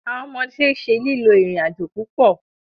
Awọn ọmọde ṣe lilo irin-ajo pupọ